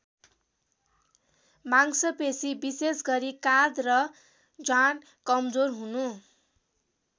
मांसपेशी विशेष गरी काँध र जाँघ कमजोर हुनु।